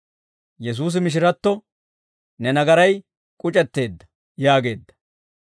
Yesuusi mishiratto, «Ne nagaray k'uc'etteedda» yaageedda.